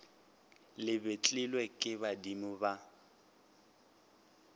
le betlilwe ke badimo ba